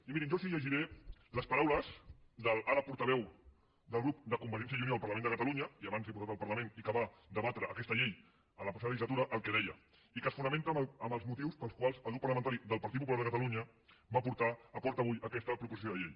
i mirin jo els llegiré les paraules de l’ara portaveu del grup de convergència i unió al parlament de catalunya i abans diputat al parlament i que va debatre aquesta llei en la passada legislatura el que deia i que es fonamenta en els motius pels quals el grup parlamentari del partit popular de catalunya porta avui aquesta proposició de llei